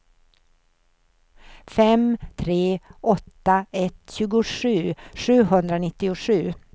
fem tre åtta ett tjugosju sjuhundranittiosju